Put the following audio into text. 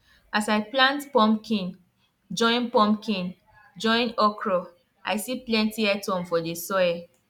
as i plant pumpkin join pumpkin join okra i see plenty earthworm for the soil